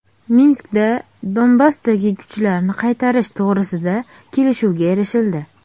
Minskda Donbassdagi kuchlarni qaytarish to‘g‘risida kelishuvga erishildi.